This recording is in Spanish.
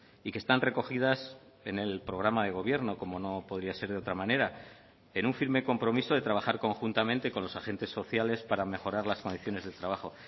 y que están recogidas en el programa de gobierno como no podría ser de otra manera en un firme compromiso de trabajar conjuntamente con los agentes sociales para mejorar las condiciones del trabajo